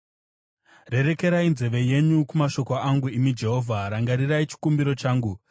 Rerekerai nzeve yenyu kumashoko angu, imi Jehovha. Rangarirai chikumbiro changu.